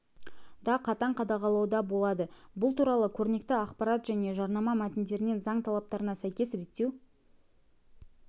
да қатаң қадағалауда болады бұл туралы көрнекті ақпарат және жарнама мәтіндерін заң талаптарына сәйкес реттеу